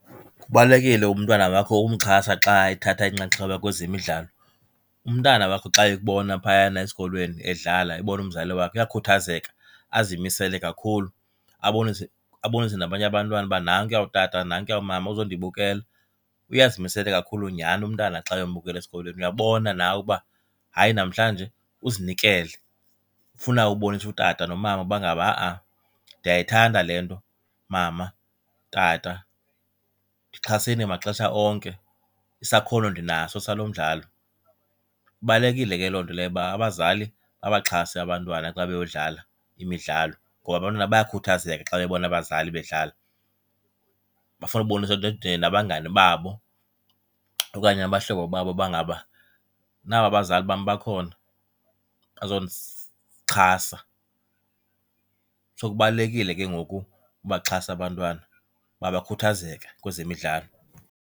Kubalulekile umntwana wakho ukumxhasa xa ethatha inxaxheba kwezemidlalo. Umntana wakho xa ekubona phayana esikolweni edlala ebona umzali wakhe uyakhuthazeka, azimisele kakhulu. Abonise abonise nabanye abantwana uba nankuya utata, nankuya umama uzondibukela. Uye azimisele kakhulu nyhani umntana xa uyombukela esikolweni. Uyabona nawe uba hayi namhlanje, uzinikele, ufuna ukubonisa utata nomama uba ngaba ha-a ndiyayithanda le nto. Mama, tata, ndixhaseni maxesha onke, isakhono ndinaso salo mdlalo. Ibalulekile ke loo nto leyo uba abazali babaxhase abantwana xa beyodlala imidlalo ngoba abantwana bayakhuthazeka xa bebona abazali bedlala. Bafuna ukubonisa nabangani babo okanye abahlobo babo uba ngaba naba abazali bam bakhona, bazondixhasa. So, kubalulekile ke ngoku ukubaxhasa abantwana uba bakhuthazeke kwezemidlalo.